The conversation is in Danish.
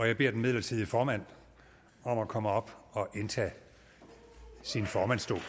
jeg beder den midlertidige formand om at komme op og indtage sin formandsstol